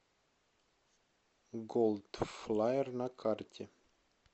голдфлаер на карте